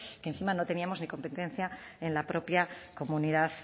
que encima no teníamos ni competencia en la propia comunidad